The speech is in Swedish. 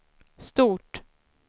stort